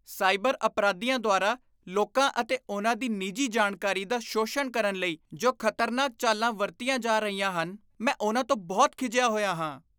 Cyber ਅਪਰਾਧੀਆਂ ਦੁਆਰਾ ਲੋਕਾਂ ਅਤੇ ਉਨ੍ਹਾਂ ਦੀ ਨਿੱਜੀ ਜਾਣਕਾਰੀ ਦਾ ਸ਼ੋਸ਼ਣ ਕਰਨ ਲਈ ਜੋ ਖਤਰਨਾਕ ਚਾਲਾਂ ਵਰਤੀਆਂ ਜਾ ਰਹੀਆਂ ਹਨ, ਮੈਂ ਉਹਨਾਂ ਤੋਂ ਬਹੁਤ ਖਿਝਿਆ ਹੋਇਆ ਹਾਂ।